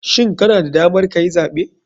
Shin kana da damar kayi zaɓe?